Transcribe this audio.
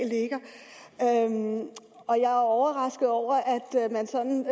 og jeg er overrasket over at man sådan